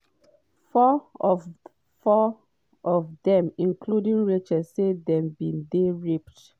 four of four of dem including rachel say dem bin dey raped.